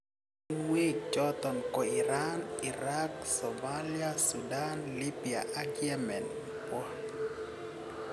emotinwek choton ko Iran, Iraq, Somalia, Sudan, Libya ak Yemen Bw